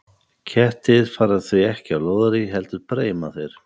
Kettir fara því ekki á lóðarí, heldur breima þeir.